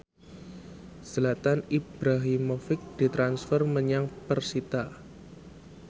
Zlatan Ibrahimovic ditransfer menyang persita